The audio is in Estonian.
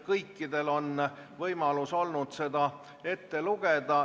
Kõikidel on olnud võimalus seda lugeda.